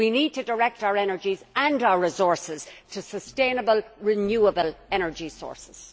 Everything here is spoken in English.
We need to direct our energies and our resources to sustainable renewable energy sources.